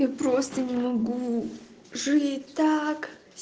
я просто не могу жить так